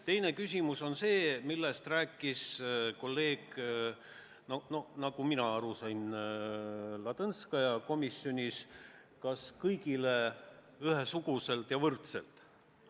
Teine küsimus on see, millest rääkis kolleeg Ladõnskaja komisjonis: kas hüvitada kõigile ühesuguselt ja võrdselt.